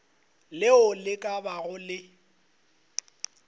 leo le ka bago le